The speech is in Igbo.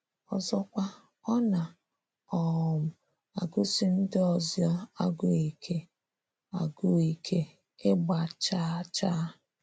Ọzọkwa, ọ na um - agụsi ndị ọzọ agụụ ike, agụụ ike, ịgba chaa chaa.